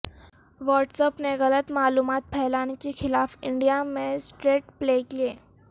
what's app نے غلط معلومات پھیلانے کے خلاف انڈیا میں سٹریٹ پلے کیے